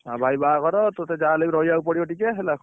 ହଁ ଭାଇ ବାହାଘର ତତେ ଯାହାହେଲେ ବି ରହିବାକୁ ପଡିବ ଟିକେ ହେଲା